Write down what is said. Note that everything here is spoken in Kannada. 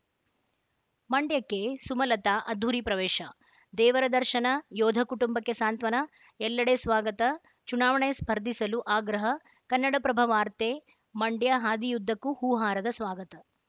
ಮಂಡ್ಯಕ್ಕೆ ಸುಮಲತಾ ಅದ್ದೂರಿ ಪ್ರವೇಶ ದೇವರ ದರ್ಶನ ಯೋಧ ಕುಟುಂಬಕ್ಕೆ ಸಾಂತ್ವನ ಎಲ್ಲೆಡೆ ಸ್ವಾಗತ ಚುನಾವಣೆ ಸ್ಪರ್ಧಿಸಲು ಆಗ್ರಹ ಕನ್ನಡಪ್ರಭ ವಾರ್ತೆ ಮಂಡ್ಯ ಹಾದಿಯುದ್ದಕ್ಕೂ ಹೂಹಾರದ ಸ್ವಾಗತ